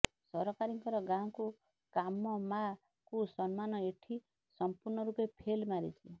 ସରକାରଙ୍କର ଗାଁକୁ କାମ ମା କୁ ସମ୍ମାନ ଏଠି ସଂପୂର୍ଣ୍ଣ ରୂପେ ଫେଲ ମାରିଛି